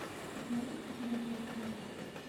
можешь показать волчонок